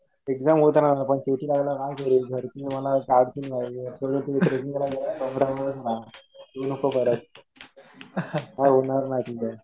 Exam होतं राहणार. पण ट्रेकिंग राहील ना कि घरचे मला काढतील बाहेर. तुला ट्रेकिंग करायचं ना बस स्टॅन्ड वरच राहा. येऊ नको घरात. काही होणार नाही तुझं.